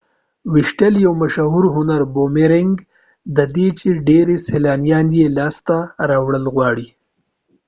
د boomerang ویشتل یو مشهور هنر دی چي ډیری سیلانیان یې لاسته راوړل غواړي